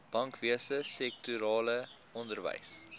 bankwese sektorale onderwys